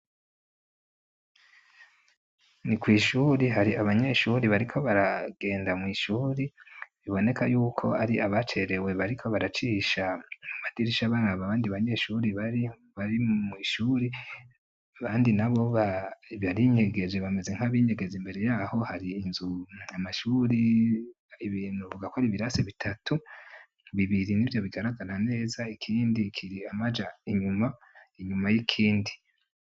Ni kw'ishure hari abanyeshuri bariko baragenda mw'ishuri biboneka yuko ari abacerewe bariko baracisha mumadirisha baraba abandi banyeshure baribari mw'ishure abandi nabo barinyegeje bameze nk'abinyegeza. Imbere yaho har'inzu, amashuri ibintu twovuga ko ar'ibirasi bitatu bibiri nivyo bigaragara neza ikindi kiri amaja inyuma inyuma y'ikindi.